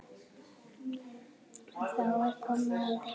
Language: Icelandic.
Þá er komið að því!